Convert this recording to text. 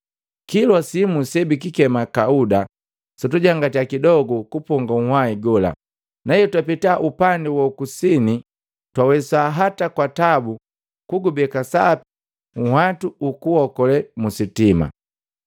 Kilwa simu se bikikema Kauda sutujangati kidogu kuponga nhwahi gola, na hetwapeta upandi wa ku kusini twawesa hata kwa tabu twawesa kugubeka sapi nhwatu huku okolee mu sitima.